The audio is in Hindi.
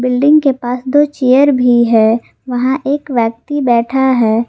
बिल्डिंग के पास दो चेयर भी है वहां एक व्यक्ति बैठा है।